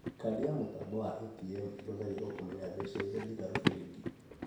Kandi ya mũtambo wa ATM ĩhũthagĩrwo kũmenya mbeca iria ndigaru bengi